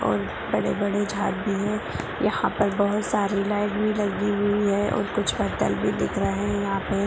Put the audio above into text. और बड़े-बड़े झाड़ भी हैं यहाँ पर बहुत सारी लाइट भी लगी हुई है और कुछ बर्तन भी दिख रहे है यहाँ पे--